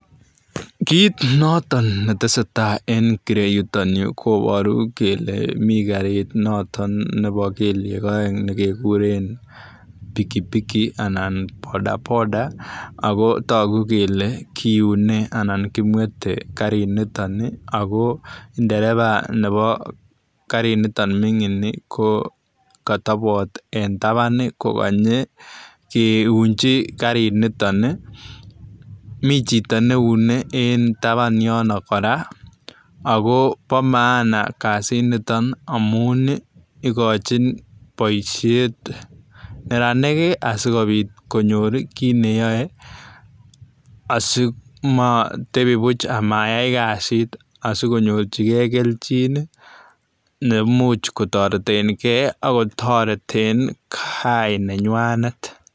Kiit notoon ne tesetai en ireyuu yutoon Yuu ii koboru kele miten kariit notoon nebo kelyek aeng nekigureen [pikipiki] anan [bodaboda] ago taguu kele kiunee anan kimwethe gariit nitoon ago nderevaa Nebo gariit nitoon mingiin ni ko katabaat en tabaan ko kanyei kiunjii kariit nitoon ii Mii chitoo ne uune en tabaan Yoon kora ago bo maana kasiit nitoon amuun ii igochiin boisiet neranik ii asikobiit konyoor kiit ne yae ii asimatebii buuch amayai kasit asikonyoorjigei keljiin ii neimuuch kotareteen gei ii ago tareteen gaah nenywaaneet.